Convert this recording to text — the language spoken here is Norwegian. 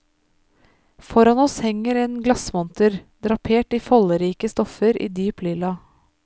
Foran oss henger en glassmonter, drapert i folderike stoffer i dyp lilla.